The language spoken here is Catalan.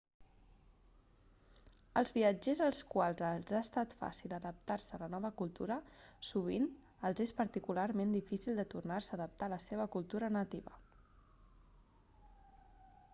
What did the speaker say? als viatgers als quals els ha estat fàcil d'adaptar-se a la nova cultura sovint els és particularment difícil de tornar-se a adaptar a la seva cultura nativa